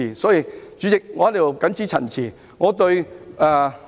代理主席，我謹此陳辭。